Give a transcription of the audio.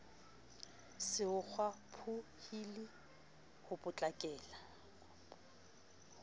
se ho kgwaphohile ho potlakela